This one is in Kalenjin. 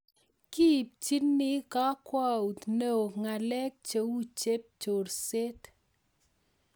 Kiipchini kakwaut neo ngalek cheu chep chorseet